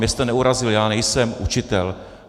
Mě jste neurazil, já nejsem učitel.